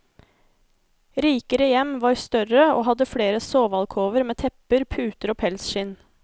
Rikere hjem var større og hadde flere sovealkover med tepper, puter og pelsskinn.